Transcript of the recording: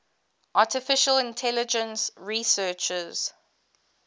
artificial intelligence researchers